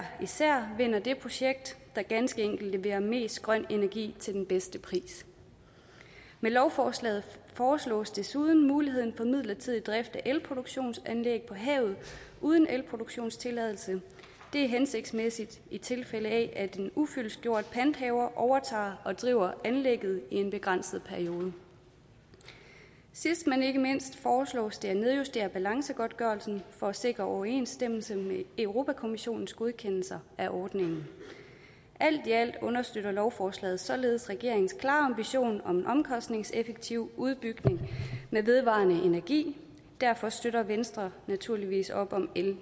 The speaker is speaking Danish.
især vinder det projekt der ganske enkelt leverer mest grøn energi til den bedste pris med lovforslaget foreslås desuden mulighed for midlertidig drift af elproduktionsanlæg på havet uden elproduktionstilladelse det er hensigtsmæssigt i tilfælde af at en ufyldestgjort panthaver overtager og driver anlægget i en begrænset periode sidst men ikke mindst foreslås det at nedjustere balancegodtgørelsen for at sikre overensstemmelse med europa kommissionens godkendelse af ordningen alt i alt understøtter lovforslaget således regeringens klare ambition om en omkostningseffektiv udbygning med vedvarende energi derfor støtter venstre naturligvis op om l